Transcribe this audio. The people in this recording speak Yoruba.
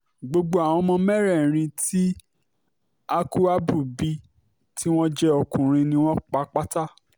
gbogbo àwọn ọmọ mẹ́rẹ̀ẹ̀rin tí hákúábù bí tí wọ́n jẹ́ ọkùnrin ni wọ́n pa pátá